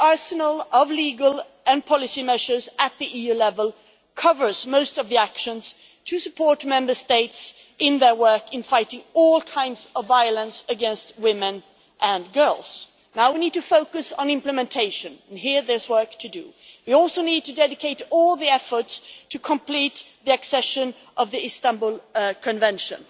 The arsenal of legal and policy measures at the EU level covers most of the actions to support Member States in their work in fighting all kinds of violence against women and girls. Now we need to focus on implementation, and here there is work to do. We also need to dedicate all our efforts to complete the accession of the Istanbul Convention.